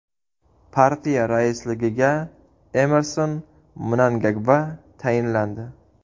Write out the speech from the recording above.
Partiya raisligiga Emmerson Mnangagva tayinlandi.